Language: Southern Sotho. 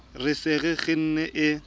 re se re kgenne e